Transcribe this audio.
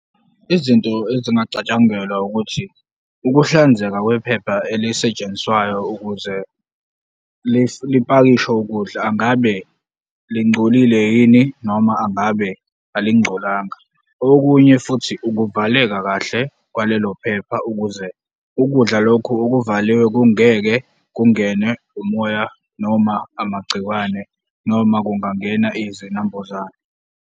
Izinto ezingacatshangelwa ukuthi, ukuhlanzeka kwephepha elisetshenziswayo ukuze lipakishe ukudla, ngabe lingcolile yini noma angabe alingcolanga? Okunye futhi ukuvaleka kahle kwalelophepa ukuze ukudla lokhu okuvaliwe kungeke kungenwe umoya noma amagcikwane noma kungangena izinambuzane.